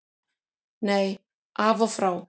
Nei, af og frá.